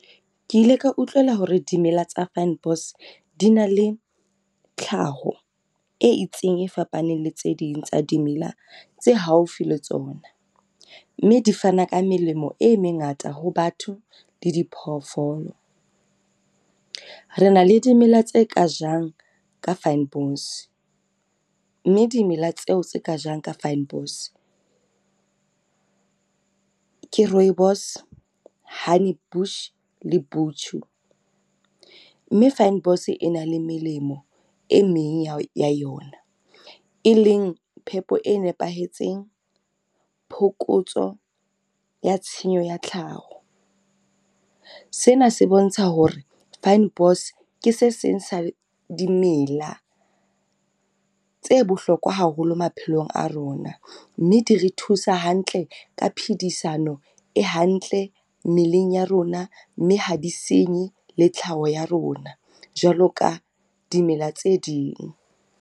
Ke ile ka utlwela hore dimela tsa fynbos di na le tlhaho e itseng e fapaneng le tse ding tsa dimela tse haufi le tsona, mme di fana ka melemo e mengata ho batho le diphoofolo. Re na le dimela tse ka jang ka fynbos, mme dimela tseo tse ka jang ka fynbos ke rooibos, honey bush le , mme fynbos e na le melemo e meng ya o ya yona e leng phepo e nepahetseng phokotso ya tshenyo ya tlhaho. Sena se bontsha hore fynbos ke se seng sa dimela tse bohlokwa haholo maphelong a rona, mme di re thusa hantle ka phedisano e hantle mmeleng ya rona, mme ha di senye le tlhaho ya rona jwalo ka dimela tse ding.